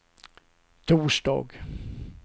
torsdag